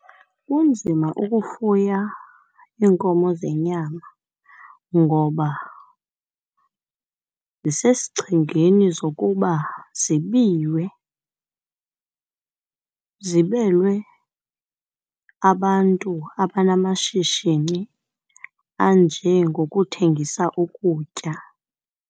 Kunzima ukufuya iinkomo zenyama ngoba, zisesichengeni zokuba zibiwe, ziblelwe abantu abanamashishini anjengokuthengisa ukutya.